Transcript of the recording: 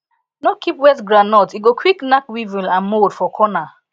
no keep wet groundnut e go quick knack weevil and mold for corner